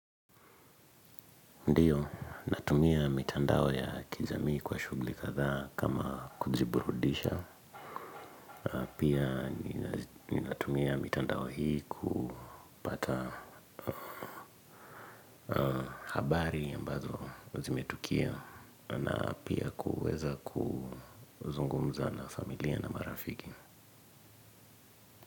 Ndio, natumia mitandao ya kijamii kwa shughuli kadhaa kama kujiburudisha. Pia ninatumia mitandao hii kupata habari ambazo zimetukia na pia kuweza kuzungumza na familia na marafiki.